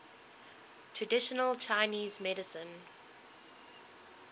traditional chinese medicine